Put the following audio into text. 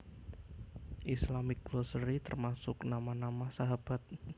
Islamic Glossary termasuk nama nama sahabat